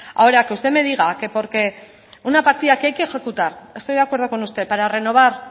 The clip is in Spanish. ahora que usted me diga que porque una partida que hay que ejecutar estoy de acuerdo con usted para renovar